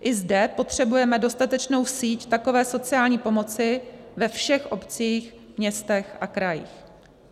I zde potřebujeme dostatečnou síť takové sociální pomoci ve všech obcích, městech a krajích.